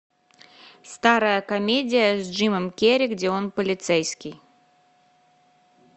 старая комедия с джимом керри где он полицейский